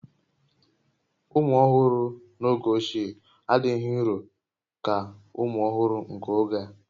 Ụmụ ọhụrụ n'oge ochie adịghị nrò ka ụmụ ọhụrụ nke oge a